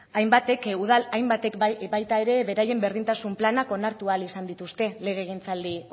udal hainbatek baita ere beraien berdintasun planak onartu ahal izan dituzte legegintzaldi